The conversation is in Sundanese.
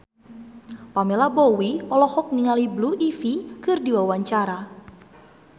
Pamela Bowie olohok ningali Blue Ivy keur diwawancara